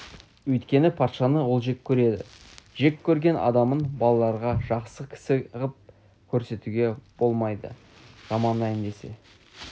өйткені патшаны ол жек көреді жек көрген адамын балаларға жақсы кісі ғып көрсетуге болмайды жамандайын десе